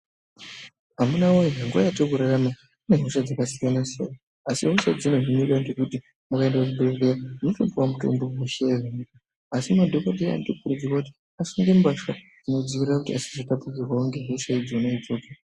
Amuna woye nguva yatirikurarama kune hosha dzakasiyana siyana asi zvinoitika ndezvekuti ukaenda kuzvibhedhlera unotopiwa mutombo asi madhokodheya anokurudzirwa kuti asimire mbatya asazotapurirwa nehosha idzodzodzo .